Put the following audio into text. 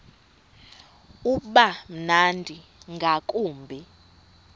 uba mnandi ngakumbi